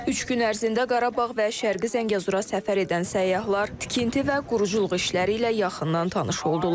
Üç gün ərzində Qarabağ və Şərqi Zəngəzura səfər edən səyyahlar tikinti və quruculuq işləri ilə yaxından tanış oldular.